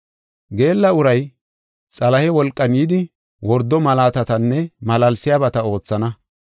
Geella uray, Xalahe wolqan yidi wordo malaatatanne malaalsiyabata oothana.